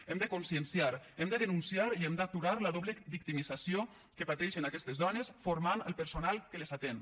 hem de conscienciar hem de denunciar i hem d’aturar la doble victimització que pateixen aquestes dones formant el personal que les atén